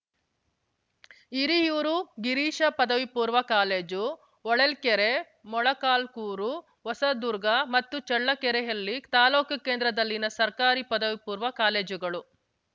ಹಿರಿಯೂರು ಗಿರೀಶ ಪದವಿಪೂರ್ವ ಕಾಲೇಜು ಹೊಳಲ್ಕೆರೆ ಮೊಳಕಾಲ್ಕೂರು ಹೊಸದುರ್ಗ ಮತ್ತು ಚಳ್ಳಕೆರೆಯಲ್ಲಿ ತಾಲೂಕು ಕೇಂದ್ರದಲ್ಲಿನ ಸರ್ಕಾರಿ ಪದವಿಪೂರ್ವ ಕಾಲೇಜುಗಳು